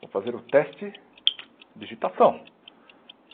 Vou fazer o teste de digitação.